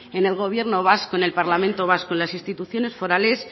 en el gobierno vasco en el parlamento vasco en las instituciones forales